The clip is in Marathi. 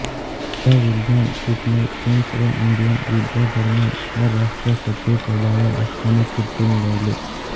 या विल्यम पिटने फ्रेंच व इंडियन युद्धादरम्यान परराष्ट्रसचिवपदावर असताना कीर्ती मिळवली